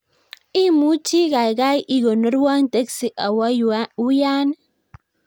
Imuchi kaigaigai ikonorwon teksi awo uyan